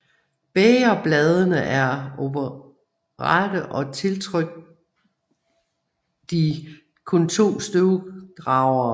Bægerbladene er oprette og tiltrykt de kun to støvdragere